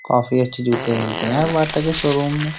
काफी अच्छे जूते मिलते हैं बाटा के शोरूम में।